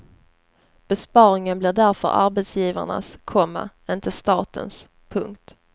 Besparingen blir därför arbetsgivarnas, komma inte statens. punkt